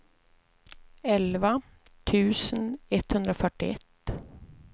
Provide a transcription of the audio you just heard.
elva tusen etthundrafyrtioett